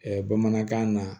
bamanankan na